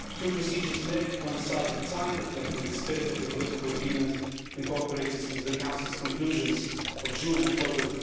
Two procedures may coincide in time, reflecting the spirit of the political agreement incorporated into the Council's conclusions of June and October